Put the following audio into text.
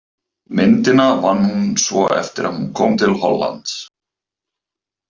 Myndina vann hún svo eftir að hún kom til Hollands.